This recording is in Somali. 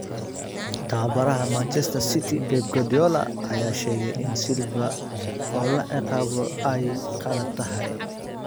Tababaraha Man City Pep Guardiola ayaa sheegay in Silva oo la ciqaabo ay qalad tahay